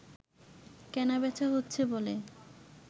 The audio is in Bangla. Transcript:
কেনাবেচা হচ্ছে বলে